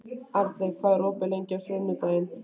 Arnlaug, hvað er opið lengi á sunnudaginn?